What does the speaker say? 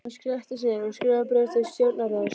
Hann settist niður og skrifaði bréf til stjórnarráðsins.